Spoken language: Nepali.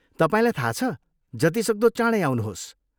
तपाईँलाई थाहा छ, जतिसक्दो चाँडै आउनुहोस्।